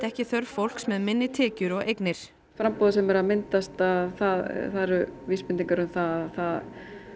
ekki þörf fólks með minni tekjur og eignir framboðið sem er að myndast það eru vísbendingar um það